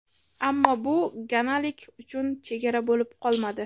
Ammo bu ganalik uchun chegara bo‘lib qolmadi.